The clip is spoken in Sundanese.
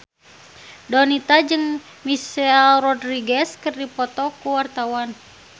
Donita jeung Michelle Rodriguez keur dipoto ku wartawan